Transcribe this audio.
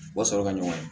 U ka sɔrɔ ka ɲɔgɔn ye